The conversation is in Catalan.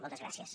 moltes gràcies